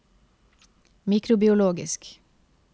mikrobiologisk